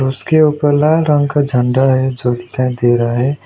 उसके ऊपर लाल रंग का झंडा है जो दिखाई दे रहा है।